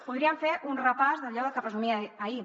podríem fer un repàs d’allò de què presumia ahir